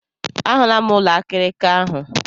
A hụla m ụlọ akịrịka ahụ.